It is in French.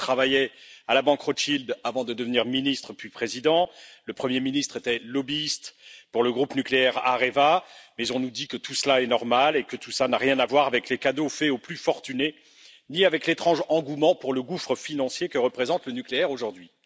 Macron travaillait à la banque Rothschild avant de devenir ministre, puis président, le premier ministre était lobbyiste pour le groupe nucléaire Areva, mais on nous dit que tout cela est normal et que cela n'a rien à voir avec les cadeaux faits aux plus fortunés, ni avec l'étrange engouement pour le gouffre financier que représente le nucléaire aujourd'hui.